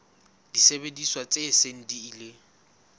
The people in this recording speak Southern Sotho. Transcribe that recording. disebediswa tse seng di ile